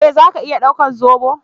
Eh zaka iya daukar zobo?